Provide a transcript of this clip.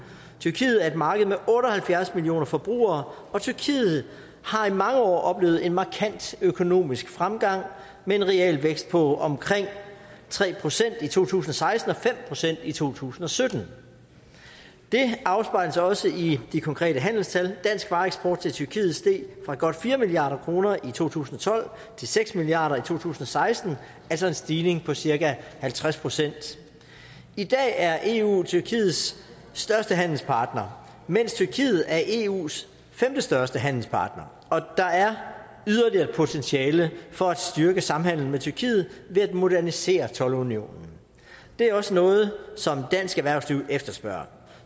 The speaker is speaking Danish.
tyrkiet er et marked med otte og halvfjerds millioner forbrugere og tyrkiet har i mange år oplevet en markant økonomisk fremgang med en realvækst på omkring tre procent i to tusind og seksten og fem procent i to tusind og sytten det afspejles også i de konkrete handelstal dansk vareeksport til tyrkiet steg fra godt fire milliard kroner i to tusind og tolv til seks milliard to tusind og seksten altså en stigning på cirka halvtreds procent i dag er eu tyrkiets største handelspartner mens tyrkiet er eus femtestørste handelspartner og der er yderligere potentiale for at styrke samhandlen med tyrkiet ved at modernisere toldunionen det er også noget som dansk erhvervsliv efterspørger